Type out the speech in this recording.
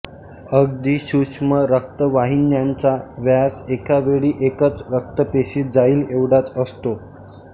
अगदी सूक्ष्म रक्तवाहिन्यांचा व्यास एका वेळी एकच रक्तपेशी जाईल एवढाच असतो